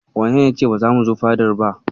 Wanene ya ce ba zamu zo fadar ba?